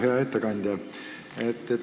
Hea ettekandja!